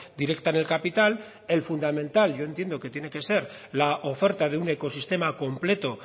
directa en el capital el fundamental yo entiendo que tienen que ser la oferta de un ecosistema completo